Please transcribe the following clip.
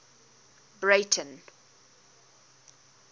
breyten